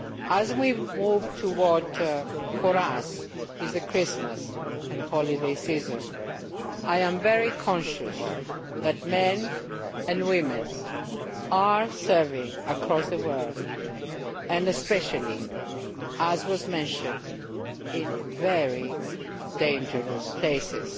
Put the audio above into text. As we move towards Christmas and for us a holiday season, I am very conscious that men and women are serving across the world and especially, as was mentioned, in very dangerous places.